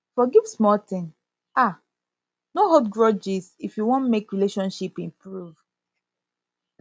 forgive small thing um no hold grudges if you want make relationship improve